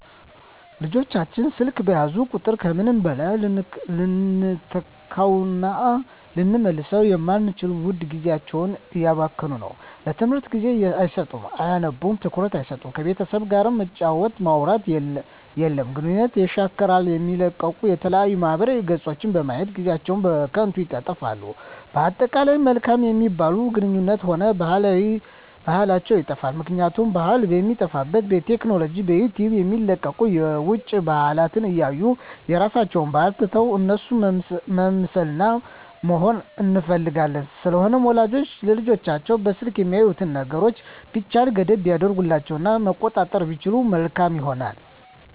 ልጆች ስልክ በያዙ ቁጥር ከምንም በላይ ልንተካዉእና ልንመልሰዉ የማንችለዉን ዉድ ጊዜያቸዉን እያባከኑት ነዉ ለትምህርት ጊዜ አይሰጡም አያነቡም ትኩረት አይሰጡም ከቤተሰብ ጋርም መጫወት ማዉራት የለም ግንኙነትን የሻክራል የሚለቀቁ የተለያዩ ማህበራዊ ገፆችን በማየት ጊዜአችን በከንቱ ይጠፋል በአጠቃላይ መልካም የሚባሉ ግንኙነታችንንም ሆነ ባህላችንንም ይጠፋል ምክንያቱም ባህል የሚጠፋዉ በቲክቶክ በዩቲዩብ የሚለቀቁትን የዉጭ ባህልን እያየን የራሳችንን ባህል ትተን እነሱን መምሰልና መሆን እንፈልጋለን ስለዚህ ወላጆች ለልጆቻቸዉ በስልክ የሚያዩትን ነገሮች ቢቻል ገደብ ቢያደርጉበት እና መቆጣጠር ቢችሉ መልካም ይሆናል